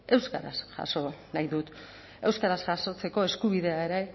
euskaraz jaso nahi dut euskaraz jasotzeko eskubidea ere